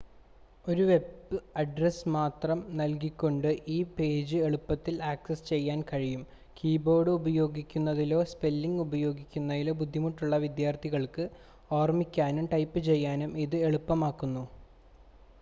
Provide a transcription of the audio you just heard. ഒരു web address മാത്രം നൽകികൊണ്ട് ഈ പേജ് എളുപ്പത്തിൽ ആക്സസ് ചെയ്യാൻ കഴിയും കീബോർഡ് ഉപയോഗിക്കുന്നതിലോ സ്പെല്ലിങ് ഉപയോഗിക്കുന്നതിലോ ബുദ്ധിമുട്ടുള്ള വിദ്യാർത്ഥികൾക്ക് ഓർമ്മിക്കാനും ടൈപ്പ് ചെയ്യാനും ഇത് എളുപ്പമാക്കുന്നു